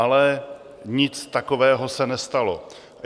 Ale nic takového se nestalo.